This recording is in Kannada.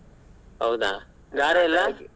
ಹೌದಾ ಗಾರೆ ಎಲ್ಲ?